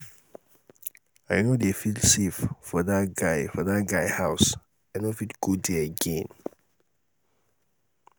i no dey feel safe for dat guy for dat guy house i no fit go there again